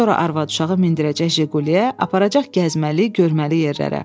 Sonra arvad-uşağı mindirəcək Jiquliyə, aparacaq gəzməli, görməli yerlərə.